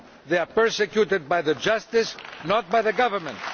They are persecuted by justice, not by the Government.